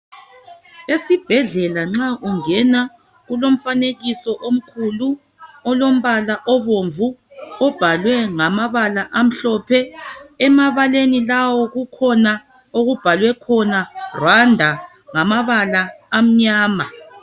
Esibhedlela nxa ungena kulomfanekiso omkhulu olombala obomvu obhalwe ngamabala amhlophe. Emabaleni lawo kukhona okubhalwe khona "Rwanda" ngamabala amnyama.